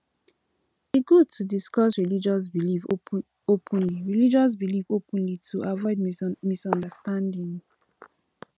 e good to discuss religious beliefs openly religious beliefs openly to avoid misunderstandings